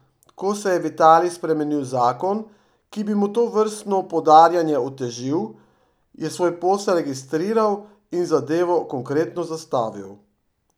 Ko se je v Italiji spremenil zakon, ki bi mu tovrstno podarjanje otežil, je svoj posel registriral in zadevo konkretno zastavil.